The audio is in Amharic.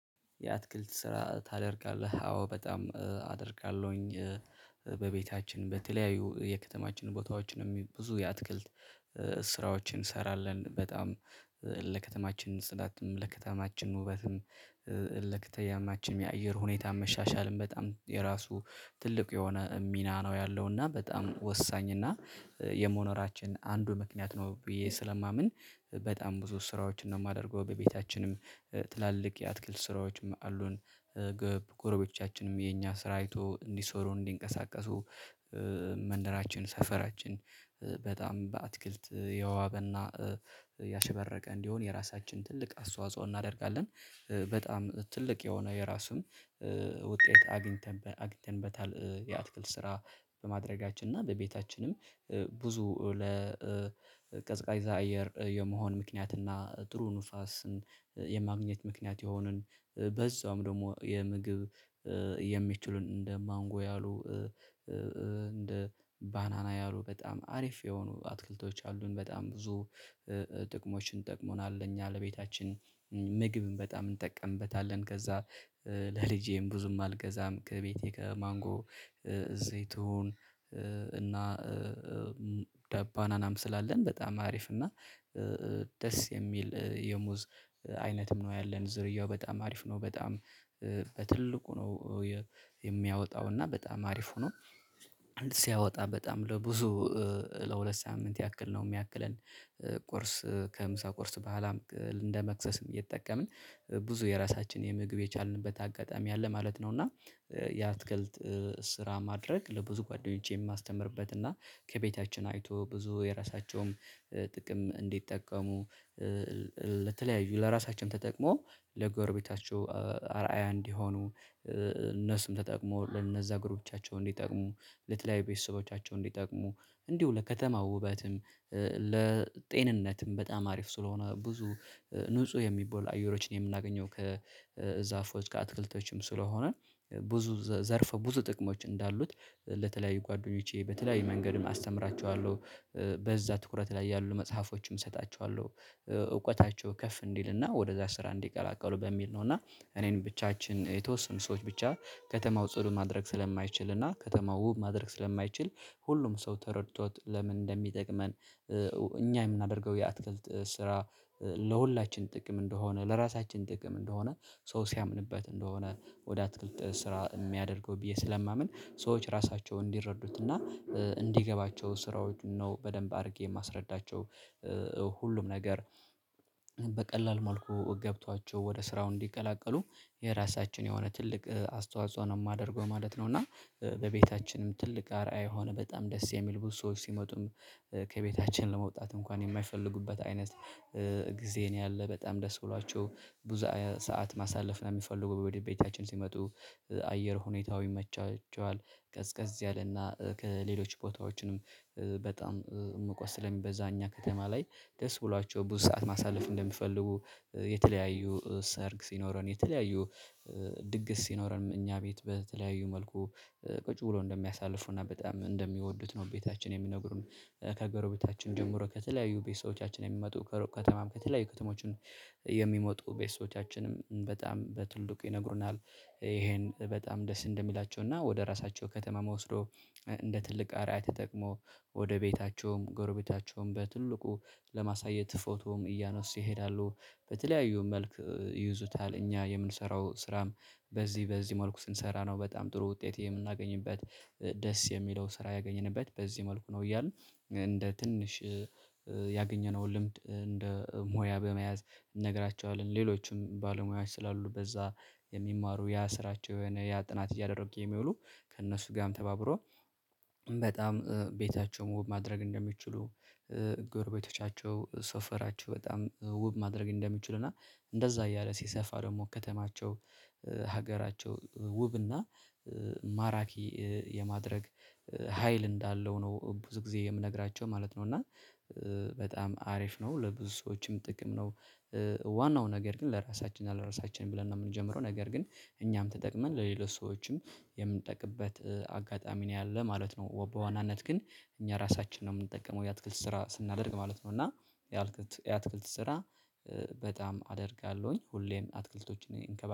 የአትክልት ስራ ታደርጋለህ አዎ በጣም አደርጋለሁኝ። በቤታችን በተለያዩ የከተማችን ቦታዎችንም ብዙ የአትክልት ስራዎችን እንሰራለን በጣም ለከተማችን ፅዳትም ለከተማችን ውበትም ለከተማችንም የአየር ሁኔታ መሻሻልም በጣም የራሱ ትልቅ የሆነ ሚና ነው ያለው እና በጣም ወሳኝ እና የመኖራችን አንዱ ምክንያት ነው ብዬ ስለማምን በጣም ብዙ ስራዎችን ነው የማደርገው በቤታችንም ትላልቅ የአትክልት ስራዎችም አሉን። ጎረቤቶቻችንም የኛ ስራ አይቶ እንዲሰሩ እንዲንቀሳቀሱ መንደራችን ሰፈራችን በጣም በአትክልት የዋበና ያሸበረቀ እንዲሆን የራሳችን ትልቅ አስተዋጽኦ እናደርጋለን በጣም ትልቅ የሆነ የራሱን ውጤት አግኝተን አግኝተንበታል። የአትክልት ስራ በማድረጋችን እና በቤታችንም ብዙ ለቀዝቃዛ አየር የመሆን ምክንያትና ጥሩ ንፋስን የማግኘት ምክንያት የሆንን በዛውም ደግሞ የምግብ የሚችሉን እንደ ማንጎ ያሉ እንደ ባናና ያሉ በጣም አሪፍ የሆኑ አትክልቶች አሉን በጣም ብዙ ጥቅሞችን ጠቅሞናል። እኛ ለቤታችን ምግብን በጣም እንጠቀምበታለን። ከዛ ለልጄም ብዙም አልገዛም ከቤቴ ከማንጎ እዚህ ትሁን እና ባናናም ስላለን በጣም አሪፍ እና ደስ የሚል የሙዝ አይነትም ነው ያለን ዝርያው በጣም አሪፍ ነው። በጣም በትልቁ ነው የሚያወጣው እና በጣም አሪፍ ሆኖ አንድ ሲያወጣ በጣም ለብዙ ለሁለት ሳምንት ያክል ነው የሚያክለን ቁርስ ከምሳ ቁርስ በኋላም እንደ መክሰስም እየተጠቀምን ብዙ የራሳችን የምግብ የቻልንበት አጋጣሚ አለ ማለት ነው። እና የአትክልት ስራ ማድረግ ለብዙ ጓደኞቼን የማስተምርበት እና ከቤታችን አይቶ ብዙ የራሳቸውም ጥቅም እንዲጠቀሙ ለተለያዩ ለራሳችን ተጠቅሞ ለጎረቤታቸው አርአያ እንዲሆኑ እነሱም ተጠቅመው ለነዛ ጎረቤታቻቸውን እንዲጠቅሙ ለተለያየ ቤተሰቦቻቸው እንዲጠቅሙ እንዲሁ ለከተማው ውበትም ለጤንነትም በጣም አሪፍ ስለሆነ ብዙ ንጹህ የሚባሉ አየሮችን የምናገኘው ከዛፎች ጋር አትክልቶችም ስለሆነ ብዙ ዘርፈ ብዙ ጥቅሞች እንዳሉት ለተለያዩ ጓደኞቼ በተለያዩ መንገድም አስተምራቸዋለሁ በዛ ትኩረት ላይ ያሉ መጽሐፎችም እሰጣቸዋለሁ። እውቀታቸው ከፍ እንዲልና ወደዛ ስራ እንዲቀላቀሉ በሚል ነው እና እኔን ብቻችን የተወሰኑ ሰዎች ብቻ ከተማው ጽዱ ማድረግ ስለማይችል እና ከተማው ውብ ማድረግ ስለማይችል ሁሉም ሰው ተረድቶት ለምን እንደሚጠቅመን? እኛ የምናደርገው የአትክልት ስራ ለሁላችን ጥቅም እንደሆነ ለራሳችን ጥቅም እንደሆነ ሰው ሲያምንበት እንደሆነ ወደ አትክልት ስራ የሚያደርገው ብዬ ስለማምን ሰዎች ራሳቸውን እንዲረዱትና እንዲገባቸው ስራዎች ነው በደንብ አድርጌ የማስረዳቸው ሁሉም ነገር በቀላል መልኩ ገብቷቸው ወደ ስራው እንዲቀላቀሉ የራሳችን የሆነ ትልቅ አስተዋጽኦ ነው የማደርገው ማለት ነው። እና በቤታችንም ትልቅ አርአይ የሆነ በጣም ደስ የሚል ብዙ ሰዎች ሲመጡም ከቤታችን ለመውጣት እንኳን የማይፈልጉበት አይነት ጊዜ ነው ያለ በጣም ደስ ብሏቸው ብዙ ሰዓት ማሳለፍ ነው የሚፈልጉ ወደ ቤታችን ሲመጡ አየር ሁኔታው ይመቻቸዋል። ቀዝቀዝ ያለና ከሌሎች ቦታዎችንም በጣም ሙቀት ስለሚበዛ እኛ ከተማ ላይ ደስ ብሏቸው ብዙ ሰዓት ማሳለፍ እንደሚፈልጉ የተለያዩ ሰርግ ሲኖረን የተለያዩ ድግስ ሲኖረን እኛ ቤት በተለያዩ መልኩ ቁጭ ብሎ እንደሚያሳልፉና በጣም እንደሚወዱት ነው ቤታችን የሚነግሩን። ከጎረቤታችን ጀምሮ ከተለያዩ ቤተሰቦቻችን የሚመጡ ከሩቅ ከተማም ከተለያዩ ከተሞችን የሚመጡ ቤተሰቦቻችንም በጣም በትልቁ ይነግሩናል። ይሄን በጣም ደስ እንደሚላቸው እና ወደ ራሳቸው ከተማም ወሰዶ እንደ ትልቅ አርአያ ተጠቅሞ ወደ ቤታቸውም ጎረቤታቸውም በትልቁ ለማሳየት ፎቶም እያነሱ ይሄዳሉ በተለያዩ መልክ ይዙታል እኛ የምንሰራው ስራም በዚህ በዚህ መልኩ ስንሰራ ነው በጣም ጥሩ ውጤት የምናገኝበት ደስ የሚለው ስራ ያገኘንበት በዚህ መልኩ ነው። እያልን እንደ ትንሽ ያገኘነውን ልምድ እንደ ሞያ በመያዝ እንነግራችኋለን ሌሎችም ባለሙያዎች ስላሉ በዛ የሚማሩ ያ ስራቸው የሆነ ያ ጥናት እያደረጉ የሚውሉ ከእነሱ ጋርም ተባብሮ በጣም ቤታቸው ውብ ማድረግ እንደሚችሉ። ጎረቤቶቻቸው ሰፈራቸው በጣም ውብ ማድረግ እንደሚችሉ እና እንደዛ እያለ ሲሰፋ ደግሞ ከተማቸው ሀገራቸው ውብና ማራኪ የማድረግ ሀይል እንዳለው ነው ብዙ ጊዜ የምነግራቸው ማለት ነው። እና በጣም አሪፍ ነው ለብዙ ሰዎችም ጥቅም ነው። ዋናው ነገር ግን ለራሳችንና ለራሳችን ብለን ነው የምንጀምረው ነገር ግን እኛም ተጠቅመን ለሌሎች ሰዎችም የምንጠቅምበት አጋጣሚ ነው ያለው ማለት ነው። በዋናነት ግን እኛ ራሳችንን ነው የምንጠቀመው የአትክልት ስራ ስናደርግ ማለት ነው። እና የአትክልት የአትክልት ስራ በጣም አደርጋለሁኝ ሁሌም አትክልቶችን እንከባለን